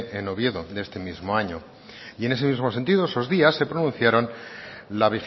en oviedo de este mismo año y en ese mismo sentido esos días se pronunciaron la